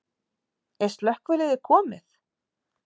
Er slökkviliðið komið?